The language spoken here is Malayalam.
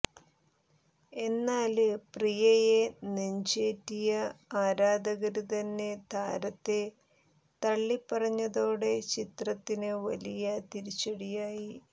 എന്നാല് പ്രിയയെ നെഞ്ചേറ്റിയ ആരാധകര് തന്നെ താരത്തെ തള്ളിപ്പറഞ്ഞതോടെ ചിത്രത്തിന് വലിയ തിരിച്ചടിയായി